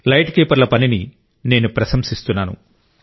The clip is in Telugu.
లైట్ కీపర్ల పనిని నేను ప్రశంసిస్తున్నాను